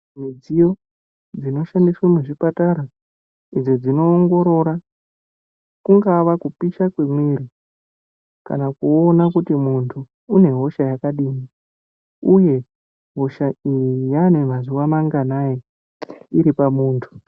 Mudziyo dzinoshandiswa muchipatara idzo dzinoongorora kungava kupisha kwemwiri, kana kuona kuti muntu unehosha yakadini uye hosha iyi yanemazuva manganani, iripamuntu.